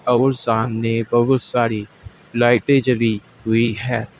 और सामने बहुत सारी लाइटें जली हुई है।